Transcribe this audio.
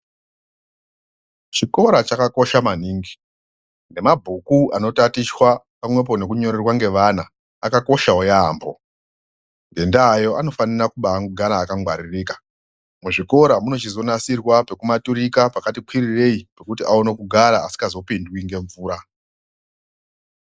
Chikora chakakosha maningi nemabhuju anitatichwa nekunyirerwa nevana akakoshawo yaambo ngendaa iyoyo anofanira kugara akangwaririka, muzvikora muno chizonasirwa pekumaturika pakati kwirirei kuti aone kugara pasingazosvikwi nemvura.